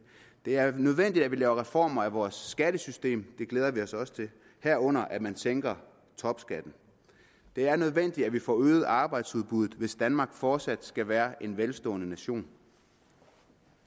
det er nødvendigt at vi laver reformer af vores skattesystem det glæder vi os også til herunder at man sænker topskatten det er nødvendigt at vi får øget arbejdsudbuddet hvis danmark fortsat skal være en velstående nation